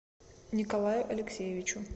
николаю алексеевичу